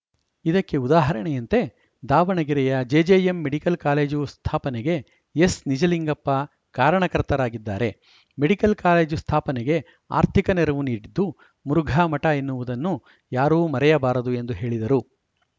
ಇದಕ್ಕೆ ಉದಾಹರಣೆಯಂತೆ ದಾವಣಗೆರೆಯ ಜೆಜೆಎಂ ಮೆಡಿಕಲ್‌ ಕಾಲೇಜು ಸ್ಥಾಪನೆಗೆ ಎಸ್‌ನಿಜಲಿಂಗಪ್ಪ ಕಾರಣಕರ್ತರಾಗಿದ್ದಾರೆ ಮೆಡಿಕಲ್‌ ಕಾಲೇಜು ಸ್ಥಾಪನೆಗೆ ಆರ್ಥಿಕ ನೆರವು ನೀಡಿದ್ದು ಮುರುಘಾ ಮಠ ಎನ್ನುವುದನ್ನು ಯಾರೂ ಮರೆಯಬಾರದು ಎಂದು ಹೇಳಿದರು